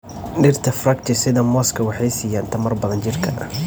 Dhirta fructi sida mooska waxay siiyaan tamar badan jidhka.